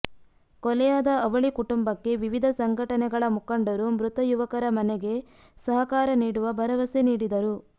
ಕೊಲೆಯಾದ ಅವಳಿ ಕುಟುಂಬಕ್ಕೆ ವಿವಿಧ ಸಂಘಟನೆಗಳ ಮುಖಂಡರು ಮೃತ ಯುವಕರ ಮನೆಗೆ ಸಹಕಾರ ನೀಡುವ ಭರವಸೆ ನೀಡಿದರು